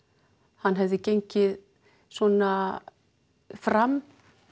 hann hefði gengið svona fram